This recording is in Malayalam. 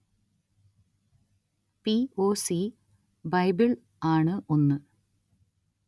പി ഒ സി ബൈബിള്‍ ആണു ഒന്നു